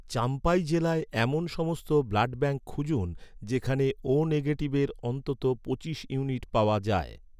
চাম্পাই জেলায় এমন সমস্ত ব্লাডব্যাঙ্ক খুঁজুন যেখানে ও নেগেটিভের অন্তত পঁচিশ ইউনিট পাওয়া যায়